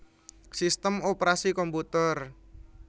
Sistem Operasi komputer